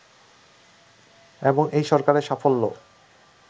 এবং এই সরকারের সাফল্য